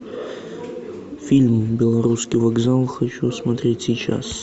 фильм белорусский вокзал хочу смотреть сейчас